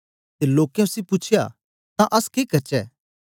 ते लोकें उसी पूछया तां अस के करचै